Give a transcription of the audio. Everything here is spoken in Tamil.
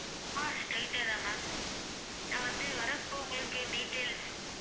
ஆஹ் straight தா ma'am நான் வந்து வரப்ப உங்களுக்கு details